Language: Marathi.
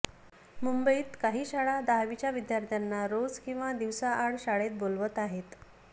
मुंबईत काही शाळा दहावीच्या विद्यार्थ्यांना रोज किंवा दिवसाआड शाळेत बोलवत आहेत